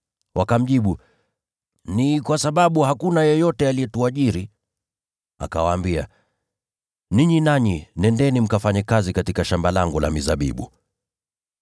“Wakamjibu, ‘Ni kwa sababu hakuna yeyote aliyetuajiri.’ “Akawaambia, ‘Ninyi nanyi nendeni mkafanye kazi katika shamba langu la mizabibu.’